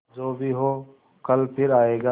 जो भी हो कल फिर आएगा